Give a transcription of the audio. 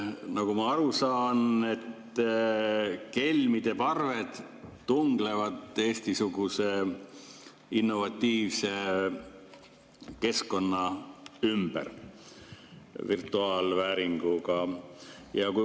Nagu ma aru saan, kelmide parved tunglevad Eesti-suguse innovatiivse keskkonna ümber virtuaalvääringuga.